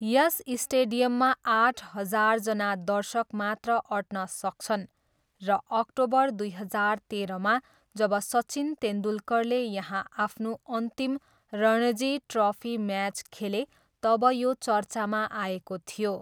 यस स्टेडियममा आठ हजारजना दर्शक मात्र अट्न सक्छन् र अक्टोबर दुई हजार तेह्रमा जब सचिन तेन्दुलकरले यहाँ आफ्नो अन्तिम रणजी ट्रफी म्याज खेले तब यो चर्चामा आएको थियो।